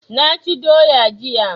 Naci doya jiya